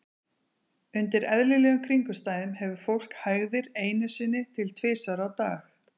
Undir eðlilegum kringumstæðum hefur fólk hægðir einu sinni til tvisvar á dag.